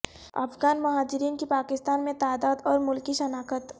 افغان مہاجرین کی پاکستان میں تعداد اور ملکی شناخت